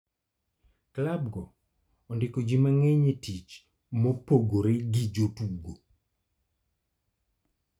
Klabgo odiko ji mang'eny tich mopogore gi jotugo.